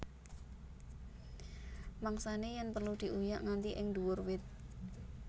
Mangsané yèn perlu diuyak nganti ing nduwur wit